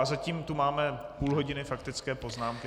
A zatím tu máme půl hodiny faktické poznámky.